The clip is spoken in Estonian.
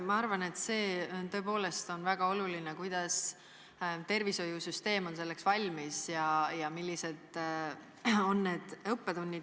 Ma arvan, et see on tõepoolest väga oluline, kuidas tervishoiusüsteem on uueks laineks valmis ja millised on õppetunnid.